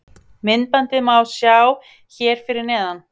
Myndbandið má sjá hér fyrir neðan